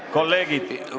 Kolleegid!